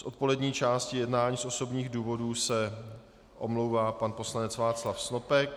Z odpolední části jednání z osobních důvodů se omlouvá pan poslanec Václav Snopek.